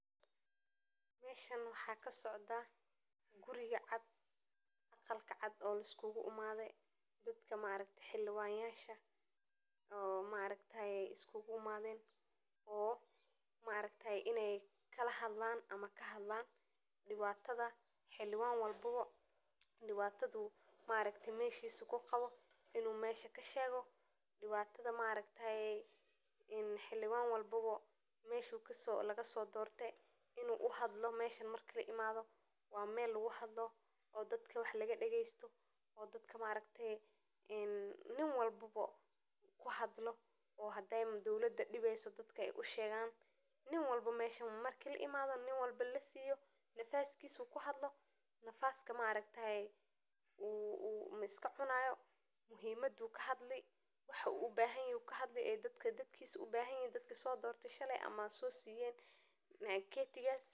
Golaha degmada waa urur ka kooban xubnaha loo doortay si ay u wakiilaano dadweynaha degmooyinka, kaas oo leh awoodo muhiim ah oo ay ku jiraan ansixinta miisaaniyadda degmada, sameynta sharciyadda gudaha degmada, iyo kalsoonida in maamulka degmadu uu ka shaqeeyo si cadaalad ah oo ka dhan ah horumarinta bulshada, sida ay u qorsheeyaan mashruucyada horumarineed ee loo baahdo, ay u deeqaan kaydka degmada si wax ku ool ah, ay u xaqiijiyaan in adeegyada aasaasiga ahi gaaraan dadweynaha, ay u dhowraan dhaqaalaha degmada, ay u garab istaagaan howlaha nabadda iyo xasiloonida, ay u dhiirrigeliyaan iskaashiga bulshada iyo ururada.